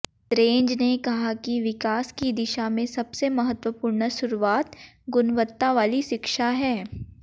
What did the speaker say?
द्रेंज ने कहा कि विकास की दिशा में सबसे महत्वपूर्ण शुरुआत गुणवत्ता वाली शिक्षा है